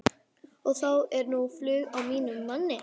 Og þá er nú flug á mínum manni.